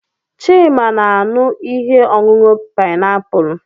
Chima na-aṅụ ihe ọṅụṅụ painiapulu.